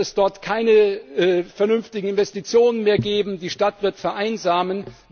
Dann wird es dort keine vernünftigen Investitionen mehr geben, die Stadt wird vereinsamen.